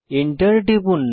enter টিপুন